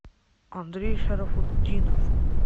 андрей шарафутдинов